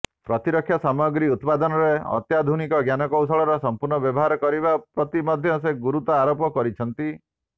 ପ୍ରତିରକ୍ଷା ସାମଗ୍ରୀ ଉତ୍ପାଦନରେ ଅତ୍ୟାଧୁନିକ ଜ୍ଞାନକୌଶଳର ସମ୍ପୂର୍ଣ୍ଣ ବ୍ୟବହାର କରିବା ପ୍ରତି ମଧ୍ୟ ସେ ଗୁରୁତ୍ୱ ଆରୋପ କରିଛନ୍ତି